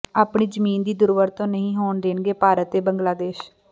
ਆਪਣੀ ਜ਼ਮੀਨ ਦੀ ਦੁਰਵਰਤੋਂ ਨਹੀਂ ਹੋਣ ਦੇਣਗੇ ਭਾਰਤ ਤੇ ਬੰਗਲਾਦੇਸ਼